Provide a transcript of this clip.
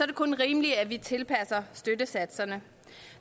det kun rimeligt at vi tilpasser støttesatserne